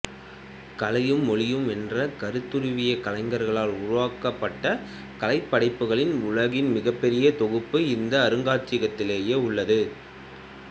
கலையும் மொழியும் என்ற கருத்துருவியக் கலைஞர்களால் உருவாக்கப்பட்ட கலைப் படைப்புகளின் உலகின் மிகப்பெரிய தொகுப்பு இந்த அருங்காட்சியகத்திலேயே உள்ளது